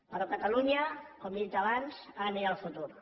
però catalunya com li he dit abans ha de mirar al futur